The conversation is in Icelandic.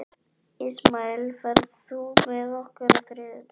Ismael, ferð þú með okkur á þriðjudaginn?